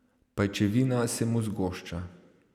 Pajčevina se mu zgošča.